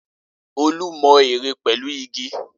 Olú mọ ère pẹ̀lú igi?